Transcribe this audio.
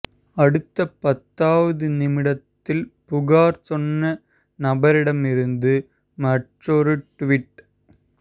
அடுத்த பத்தாவது நிமிடத்தில் புகார் சொன்ன நபரிடமிருந்து மற்றொரு டிவிட்